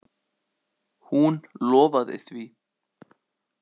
Hún lofaði því.